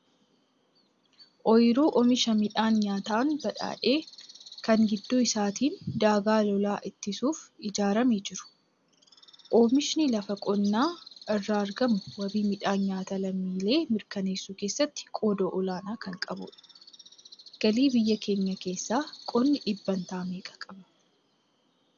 Ooyiruu oomisha midhaan nyaataan badhaadhe kan gidduu isaatiin daagaan lolaa ittisuuf ijaaramee jiru. Oomishni lafa qonnaa irraa argamu wabii midhaan nyaataa lammiilee mirkaneessuu keessatti qooda olaanaa kan qabudha. Galii biyya keenyaa keessaa qonni dhibbantaa meeqa qabata?